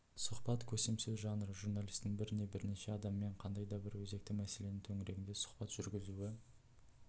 сұхбат көсемсөз жанры журналистің бір не бірнеше адаммен қандай да бір өзекті мәселе төңірегінде сұхбат жүргізуі